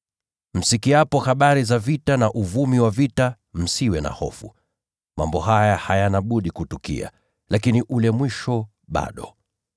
Msikiapo habari za vita na uvumi wa vita, msiwe na hofu. Mambo haya hayana budi kutukia, lakini ule mwisho bado.